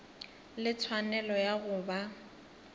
le tshwanelo ya go ba